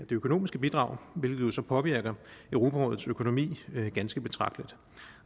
økonomiske bidrag hvilket så påvirker europarådets økonomi ganske betragteligt